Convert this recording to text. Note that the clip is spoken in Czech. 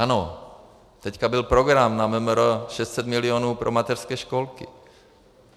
Ano, teďka byl program na MMR 600 milionů pro mateřské školky.